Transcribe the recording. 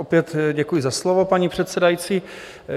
Opět děkuji za slovo, paní předsedající.